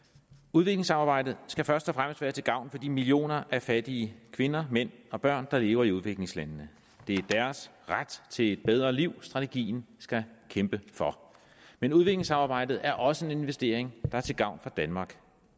udviklingssamarbejdet skal først og fremmest være til gavn for de millioner af fattige kvinder mænd og børn der lever i udviklingslandene det er deres ret til et bedre liv strategien skal kæmpe for men udviklingssamarbejdet er også en investering der er til gavn for danmark